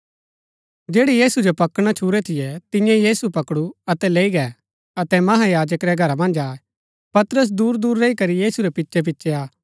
जैड़ै यीशु जो पकड़ना छूरै थियै तियें यीशु पकडु अतै लैई गै अतै महायाजक रै घरा मन्ज आये पतरस दूरदूर रैई करी यीशु रै पिछैपिछै आ